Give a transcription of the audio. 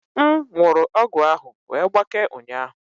M wụrụ ọgwụ ahụ wee gbakee ụnyaahụ